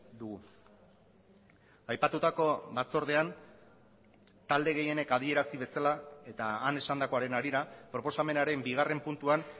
dugu aipatutako batzordean talde gehienek adierazi bezala eta han esandakoaren harira proposamenaren bigarren puntuan